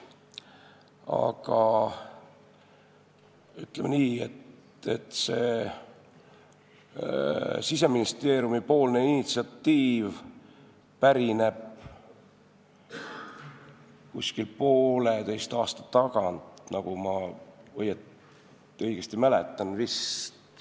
Aga ütleme nii, et see Siseministeeriumi initsiatiiv pärineb poolteise aasta tagant, nagu ma mäletan.